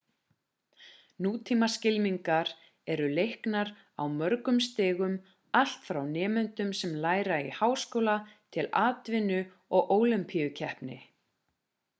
nútímaskylmingar eru leiknar á mörgum stigum allt frá nemendum sem læra í háskóla til atvinnu og ólympíukeppni